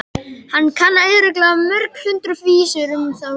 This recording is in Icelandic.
Hann kann örugglega mörg hundruð vísur um þá líka.